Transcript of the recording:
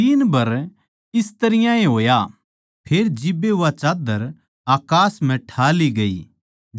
तीन बर इस तरियां ए होया फेर जिब्बे वा चाद्दर अकास म्ह ठा ली गई